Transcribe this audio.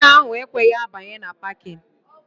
Gia ahụ ekweghị abanye na 'pakịn'